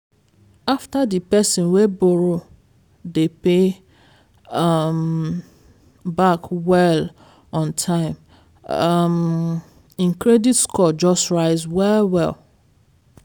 after di person wey borrow dey pay um back well on time um im credit score just rise well-well.